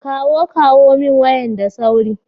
kawo kawo min wayan da sauri.